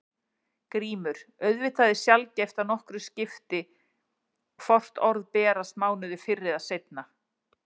GRÍMUR: Auðvitað er sjaldgæft að nokkru skipti hvort orð berast mánuði fyrr eða seinna.